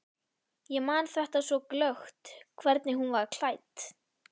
Ég man þetta svo glöggt, hvernig hún var klædd.